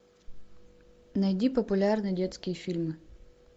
найди популярные детские фильмы